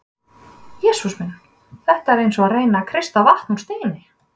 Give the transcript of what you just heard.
Jesús minn, þetta er eins og að reyna að kreista vatn úr steini.